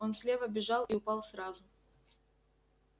он слева бежал и упал сразу